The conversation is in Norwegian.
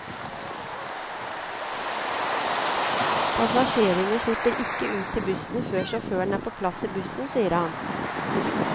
Passasjerene slipper ikke ut til bussene før sjåføren er på plass i bussen, sier han.